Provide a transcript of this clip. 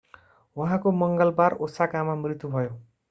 उहाँको मङ्गलबार ओसाकामा मृत्यु भयो